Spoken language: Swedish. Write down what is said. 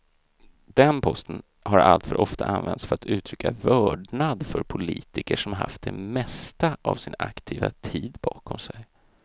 Den posten har alltför ofta använts för att uttrycka vördnad för politiker som haft det mesta av sin aktiva tid bakom sig.